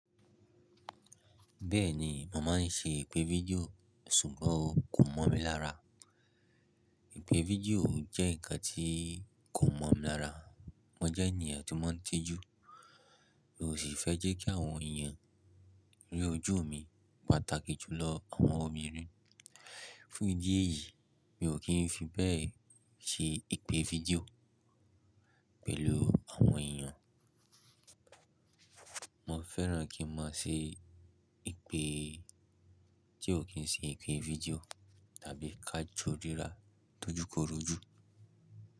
Bẹ́ẹ̀ni, mo má máa ṣe ìpè fídíò sùgbọ́n kò mọ́ mi lára. Ìpè fídíò jẹ́ ǹkan tí kò mọ́ mi lára. Mo jẹ́ ènìyàn tó mọ́ ń ti ju, mi ò sì fẹ́ jẹ́ kí àwọn èèyàn rí ojú mi pàtàkì jù lọ àwọn obìnrin. Fún ìdí èyí, mi ò kí ń fi bẹ́ẹ̀ ṣe ìpè fídíò pẹ̀lú àwọn èèyàn. Mo fẹ́ràn kí n máa ṣe ìpè tí ò kí ń ṣe ìpè fídíò tàbí ká jọ ríra tójúkorojú.